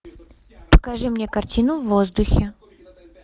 покажи мне картину в воздухе